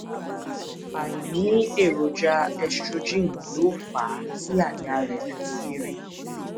àìní èròjà estrogen ló fà á tí àyà rẹ fi kééré